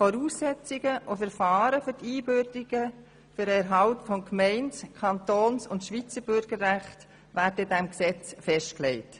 Voraussetzungen und Verfahren für die Einbürgerungen und den Erhalt von Gemeinde-, Kantons- und SchweizerBürgerrechten werden in diesem Gesetz festgelegt.